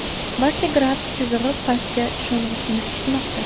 Barcha grafik chizig‘i pastga sho‘ng‘ishini kutmoqda.